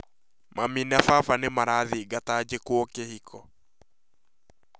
Mami na baba nĩ marathingata njĩkwo kĩhiko